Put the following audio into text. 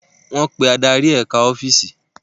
Wọ́n pe adarí eka ọ́fíìsì